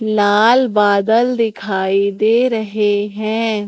लाल बादल दिखाई दे रहे हैं।